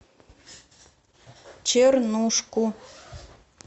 чернушку